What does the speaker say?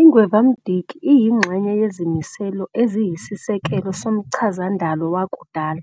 Ingwevamdiki iyingxenye yezimiselo eziyisisekelo zomchazandalo wakudala,